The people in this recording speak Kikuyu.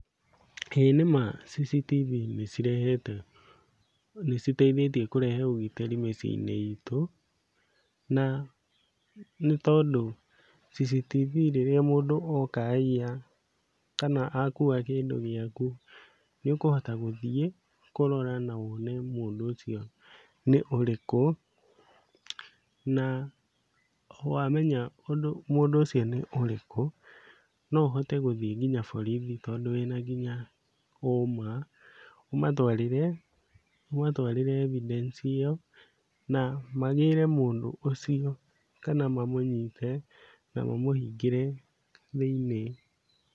Ĩĩ nĩma CCTV nĩcirehete nĩciteithĩtie kũrehe ũgitĩri mĩciĩ-inĩ itũ. Na nĩ tondũ CCTV rĩrĩa mũndũ oka aiya, kana akua kĩndũ gĩaku, nĩũkũhota gũthiĩ kũrora na wone mũndũ ũcio nĩ ũrĩkũ, na wamenya ũndũ mũndũ ũcio nĩ ũrĩkũ, no ũhote gũthiĩ nginya borithi tondũ wĩna nginya ũma, ũmatwarĩre, ũmatwarĩre evidence ĩyo, na magĩre mũndũ ũcio kana mamũnyite na mamũhingĩre thĩinĩ.